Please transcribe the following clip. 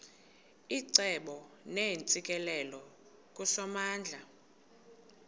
icebo neentsikelelo kusomandla